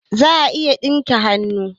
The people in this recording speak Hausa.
Za'a a iya yin dinki da hannu